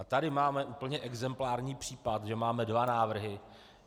A tady máme úplně exemplární případ, že máme dva návrhy.